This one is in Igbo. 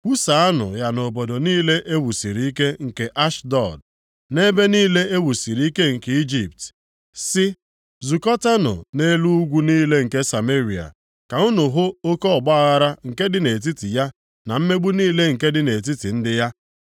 Kwusaanụ ya nʼobodo niile e wusiri ike nke Ashdọd na ebe niile e wusiri ike nke Ijipt, sị, “Zukọtanụ + 3:9 Maọbụ, Werenụ ọnọdụ unu nʼelu ugwu niile nke Sameria ka unu hụ oke ọgbaaghara nke dị nʼetiti ya na mmegbu niile nke dị nʼetiti ndị ya. + 3:9 A na-eme nʼime ya”